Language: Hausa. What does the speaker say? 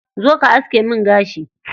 Zo ka aske min gashi.